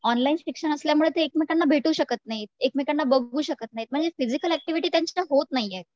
online शिक्षण असल्यामुळे ते भेटु शकत नाही एकमेकांना बघु शकत नाही म्हणजे फिजीकल ऍक्टिव्हिटी त्यांच्यात होत नाहीये